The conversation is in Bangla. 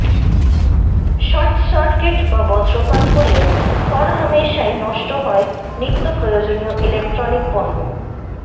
শর্টসার্কিট বা বজ্রপাত হলে হরহামেশাই নষ্ট হয় নিত্য প্রয়োজনীয় ইলেকট্রনিক পণ্য